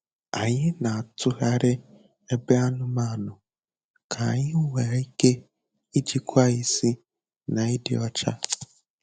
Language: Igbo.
Anyị na-atụgharị ebe anụmanụ ka anyị nwee ike ijikwa isi na ịdị ọcha.